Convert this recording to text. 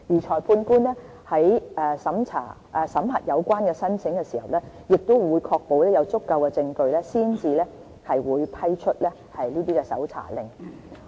裁判官在審核有關申請時，亦會確保有足夠證據才會批出搜查令。